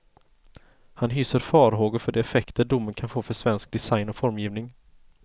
Han hyser farhågor för de effekter domen kan få för svensk design och formgivning.